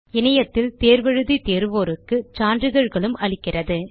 இணையத்தில் தேர்வு எழுதி தேர்வோருக்கு சான்றிதழ்களும் அளிக்கிறது